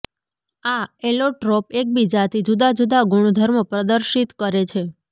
આ એલોટ્રોપ એકબીજાથી જુદા જુદા ગુણધર્મો પ્રદર્શિત કરે છે